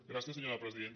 gràcies senyora presidenta